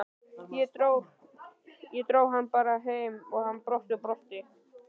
Ég dró hann bara heim og hann brosti og brosti.